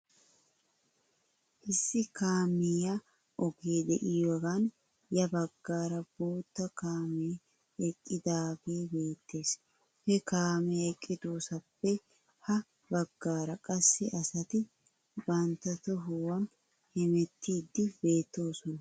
Issi kaamiyaa ogee de'iyaagan ya bagaara bootta kaamee eqqidaagee beettes. He kaamee eqqidosaappe ha bagaara qassi asati bantta tohuwan hemetiiddi beettoosona.